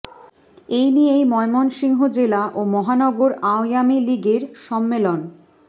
এ নিয়েই ময়মনসিংহ জেলা ও মহানগর আওয়ামী লীগের সম্মেলন